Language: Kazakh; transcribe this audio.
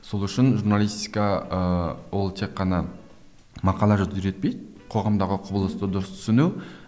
сол үшін журналистика ы ол тек қана мақала жазуды үйретпей қоғамдағы құбылысты дұрыс түсіну